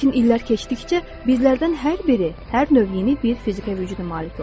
Lakin illər keçdikcə bizlərdən hər biri hər növ yeni bir fiziki vücuda malik oluruq.